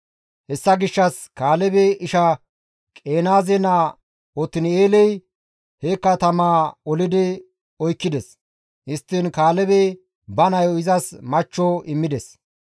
Hessa gishshas Kaalebe isha Qenaaze naa Otin7eeley he katamaa olidi oykkides; histtiin Kaalebey ba nayo izas machcho immides.